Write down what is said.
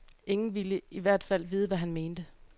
Ingen ville i hvert fald vide, hvad han mente.